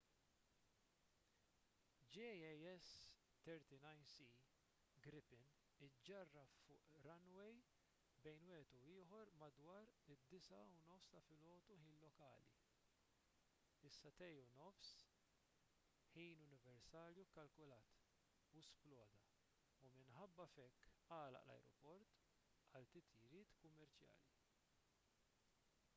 jas 39c gripen iġġarraf fuq runway bejn wieħed u ieħor madwar id-9.30 am ħin lokali 0230 utc u sploda u minħabba f'hekk għalaq l-ajruport għal titjiriet kummerċjali